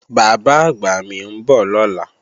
Bàbá-àgbà mi ń bọ̀ lọ́la